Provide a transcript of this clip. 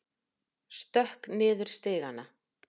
Stökk niður stigana.